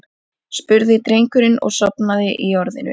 spurði drengurinn og sofnaði í orðinu.